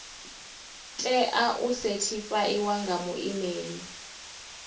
tea u sethifaiwa nga muimeli